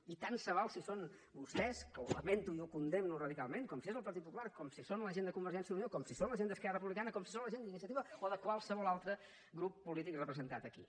i tant se val si són vostès que ho lamento i ho condemno radicalment com si és el partit popular com si són la gent de convergència i unió com si són la gent d’esquerra republicana com si són la gent d’iniciativa o de qualsevol altre grup polític representat aquí